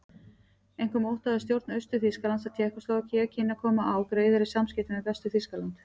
Einkum óttaðist stjórn Austur-Þýskalands að Tékkóslóvakía kynni að koma á greiðari samskiptum við Vestur-Þýskaland.